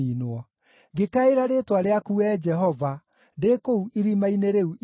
Ngĩkaĩra rĩĩtwa rĩaku Wee Jehova, ndĩ kũu irima-inĩ rĩu iriku.